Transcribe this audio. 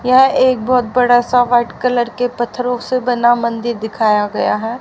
यह एक बहोत बड़ा सा व्हाइट कलर के पथरों से बना मंदिर दिखाया गया है।